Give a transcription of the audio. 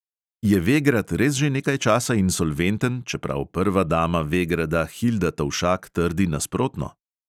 Je vegrad res že nekaj časa insolventen, čeprav prva dama vegrada hilda tovšak trdi nasprotno?